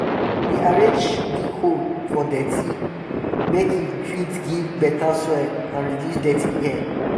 she dey arrange dig hole for dirty dirty make e fit give beta soil and reduce dirty air